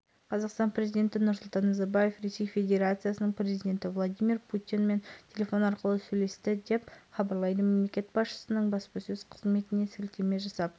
жақындарының ақпараты бойынша жетінші сынып оқушысы ақ жемпір көк шалбар қара күртке аяғында спорттық көк аяқ киім басына сұр қара түсті